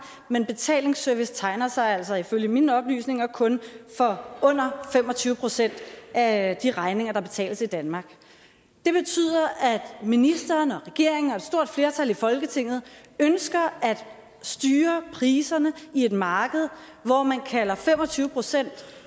men betalingsservice tegner sig altså ifølge mine oplysninger kun for under fem og tyve procent af de regninger der betales i danmark det betyder at ministeren og regeringen og et stort flertal i folketinget ønsker at styre priserne i et marked hvor man kalder fem og tyve procent